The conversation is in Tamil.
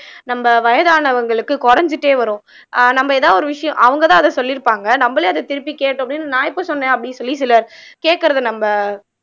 நம்ம வயதானவங்களுக்கு குறைஞ்சிட்டே வரும் ஆஹ் நம்ம ஏதாவது ஒரு விஷயம் அவங்கதான் அத சொல்லி இருப்பாங்க நம்மளே அத திருப்பி கேட்டோம் அப்படின்னு நான் எப்போ சொன்னேன் அப்படின்னு சொல்லி சிலர் கேக்குறது நம்ப